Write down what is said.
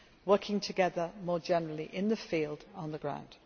working together more generally in the field and on the